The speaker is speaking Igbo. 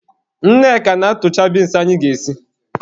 Nneka na-atụcha binsi anyị ga-esi.